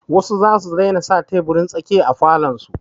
Wasu za su daina sa teburin tsakiya a falon su.